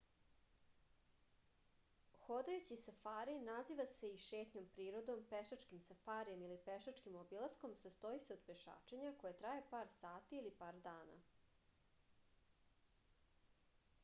ходајући сафари назива се и шетњом природом” пешачким сафаријем” или пешачким обиласком” састоји се од пешачења које траје пар сати или пар дана